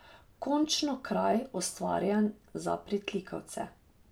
Končno kraj, ustvarjen za pritlikavce.